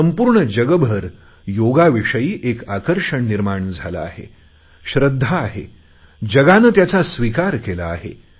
संपूर्ण जगभर योगाविषयी एक आकर्षण आहे श्रध्दा आहे आणि जगाने त्याचा स्विकार केला आहे